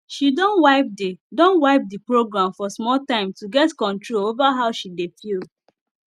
she don wipe the don wipe the program for small time to get control over how she dey feel